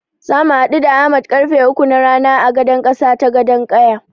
Zamu haɗu da Ahmad karfe uku na rana a gadan ƙasa ta Gadon ƙaya.